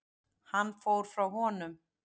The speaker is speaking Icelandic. Hann fór frá honum.